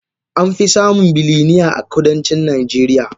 Amfi samun bilinear a kudancin najeriya.